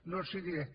no els ho diré